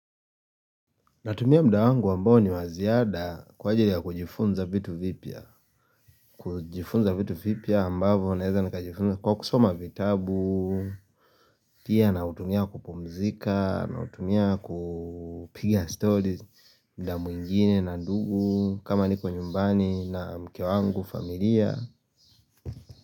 Natumia muda wangu ambao ni wa ziada kwa ajili ya kujifunza vitu vipya, kujifunza vitu vipya ambavyo naeza nikajifunza kwa kusoma vitabu Pia nautumia kupumzika nautumia kupiga stories muda mwingine na ndugu kama niko nyumbani na mke wangu, familia.